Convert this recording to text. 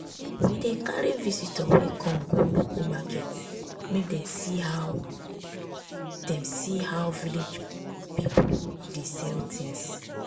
we dey carry visitor wey come go local market make dem see how dem see how village people dey sell things.